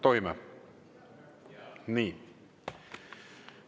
Tohime?